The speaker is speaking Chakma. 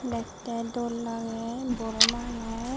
dektey dol lagey buro manuj.